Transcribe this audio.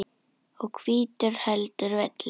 og hvítur heldur velli.